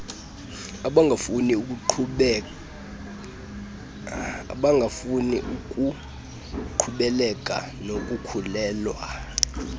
abangafuni kuqhubekeka nokukhulelwa